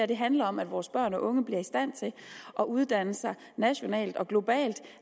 det handler om at vores børn og unge bliver i stand til at uddanne sig nationalt og globalt